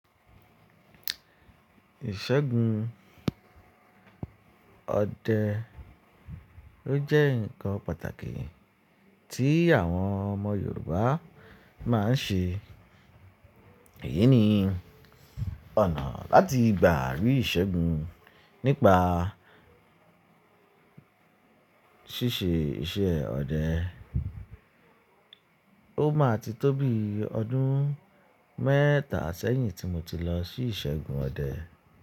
Ìṣẹ́gun ọdẹ ló jẹ́ nǹkan pàtàkì tí àwọn ọmọ Yorùbá máa ń ṣe. Èyí ni ọ̀nà láti gbàrí ìṣẹ́gun nípa ṣíṣe iṣẹ́ ọdẹ. Ó máa ti tóbi ọdún mẹ́ta sẹ́yìn tí mo ti lọ sí ìṣẹ́gun ọdẹ.